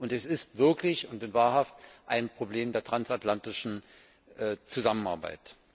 Es ist wirklich und in Wahrheit ein Problem der transatlantischen Zusammenarbeit.